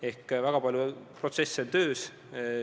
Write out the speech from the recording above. Ehk siis väga palju protsesse on töös.